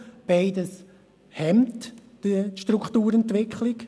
Beides hemmt die Strukturentwicklung.